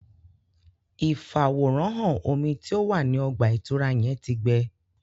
Ifaworanhan omí tí o wá ní ọgba-itura yẹn tí gbẹ